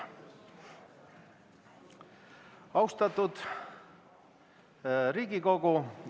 Austatud Riigikogu!